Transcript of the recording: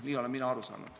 Nii olen mina aru saanud.